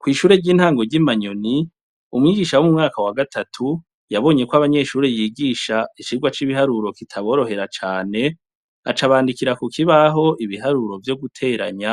Kw'ishure ry'intango ry'i manyoni, umwigisha w'umwaka wa gatatu yabonye ko abanyeshure yigisha icigwa c'ibiharuro kitaborohera cane acabandikira ku kibaho ibiharuro vyo guteranya